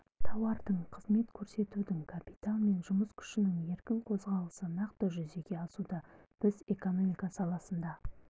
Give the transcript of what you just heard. тауардың қызмет көрсетудің капитал мен жұмыс күшінің еркін қозғалысы нақты жүзеге асуда біз экономика саласында